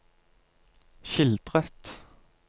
skildret